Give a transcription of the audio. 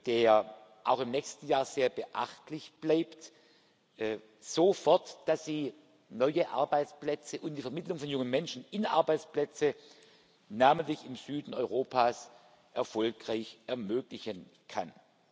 der auch im nächsten Jahr sehr beachtlich bleibt, so fort, dass sie neue Arbeitsplätze und die Vermittlung von jungen Menschen in Arbeitsplätze, namentlich im Süden Europas, erfolgreich ermöglichen kann.